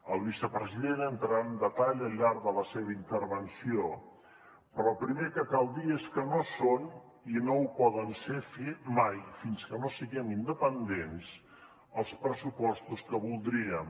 el vicepresident hi entrarà en detall al llarg de la seva intervenció però el primer que cal dir és que no són i no ho poden ser mai fins que no siguem independents els pressupostos que voldríem